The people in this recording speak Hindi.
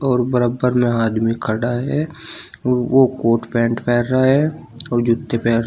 और बराबर में आदमी खड़ा है और वो कोट पैंट पहन रहा है और जूते पहन रा--